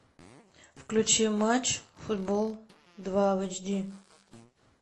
включи матч футбол два в эйч ди